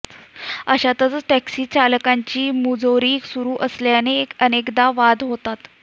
अशातच टॅक्सी चालकांची मुजोरी सुरू असल्याने अनेकदा वाद होतात